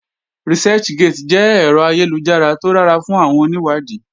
Researchgate jẹ́ ẹ̀rọ ayélujára tó dára fún àwọn onìwádìí